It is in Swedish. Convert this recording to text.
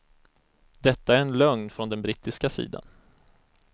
Detta är en lögn från den brittiska sidan.